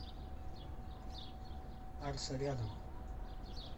арса рядом